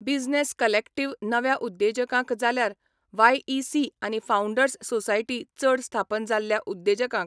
Business collective नव्या उद्देजकांक जाल्यार वायईसी आनी फाउंडर्स सोसायटी चड स्थापन जाल्ल्या उद्देजकांक.